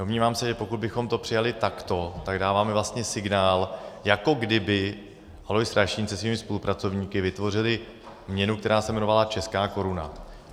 Domnívám se, že pokud bychom to přijali takto, tak dáváme vlastně signál, jako kdyby Alois Rašín se svými spolupracovníky vytvořili měnu, která se jmenovala česká koruna.